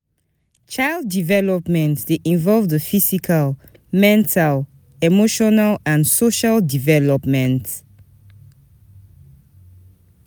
Child development de involve di physical, mental, emotional and social development